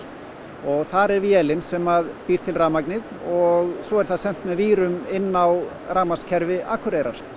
og þar er vélin sem býr til rafmagnið og svo er það sent með vírum inn á rafmagnskerfi Akureyrar